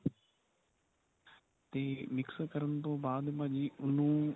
ਤੇ mix ਕਰਨ ਤੋ ਬਾਅਦ ਭਾਜੀ ਉਹਨੂੰ